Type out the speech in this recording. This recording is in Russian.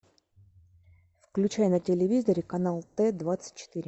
включай на телевизоре канал т двадцать четыре